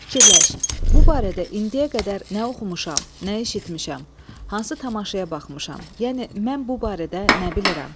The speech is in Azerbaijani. Fikirləş, bu barədə indiyə qədər nə oxumuşam, nə eşitmişəm, hansı tamaşaya baxmışam, yəni mən bu barədə nə bilirəm?